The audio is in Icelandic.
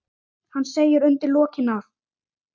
Hann segir undir lokin að